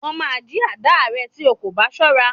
Wọ́n máa jí àdáà rẹ tí o kò bá ṣọ́ra.